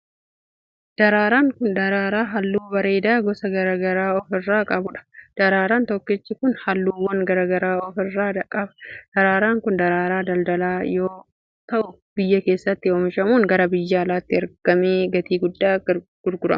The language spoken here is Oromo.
Daraaraan kun, daraaraa haalluu bareedaa gosa garaa garaa of irraa qabuu dha. Daraaraa tokkichi kun, haalluuwwan garaa garaa of irraa qaba. Daraaraan kun, daraaraa daldalaa yoo ta'u, biyya keessatti oomishamuun gara biyya alaatti ergamaee gatii guddaan gurgurama.